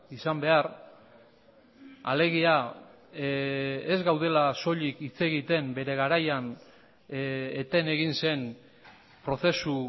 izan behar alegia ez gaudela soilik hitz egiten bere garaian eten egin zen prozesu